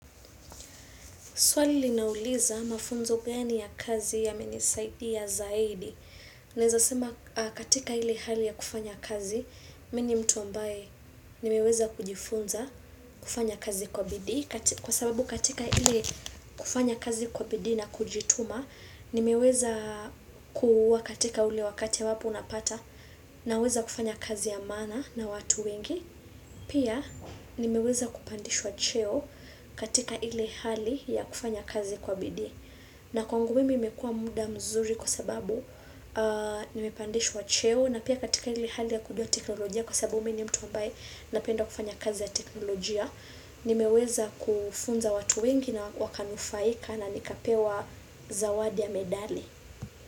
Swali linauliza mafunzo gani ya kazi yamenisaidia zaidi. Naweza sema katika ile hali ya kufanya kazi, mimi ni mtu ambaye nimeweza kujifunza kufanya kazi kwa bidii. Kwa sababu katika ile kufanya kazi kwa bidii na kujituma, nimeweza kuwa katika ule wakati ambapo unapata, naweza kufanya kazi ya maana na watu wengi Pia nimeweza kupandishwa cheo katika ile hali ya kufanya kazi kwa bidi. Na kwangu mimi imekuwa muda mzuri, kwa sababu nimepandishwa cheo na pia katika ile hali ya kujua teknolojia kwa sababu mimi ni mtu ambaye napenda kufanya kazi ya teknolojia. Nimeweza kufunza watu wengi na wakanufaika na nikapewa zawadi ya medali.